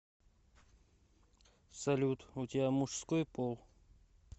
салют у тебя мужской пол